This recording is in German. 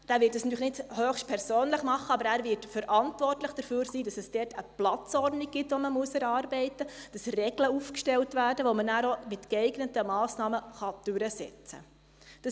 Er wird das natürlich nicht höchstpersönlich tun, aber er wird verantwortlich dafür sein, dass es dort eine Platzordnung gibt, die erarbeitet werden muss, dass Regeln aufgestellt werden, die man dann auch mit geeigneten Massnahmen durchsetzen kann.